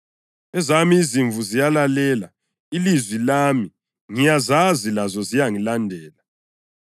Ezami izimvu ziyalilalela ilizwi lami; ngiyazazi lazo ziyangilandela.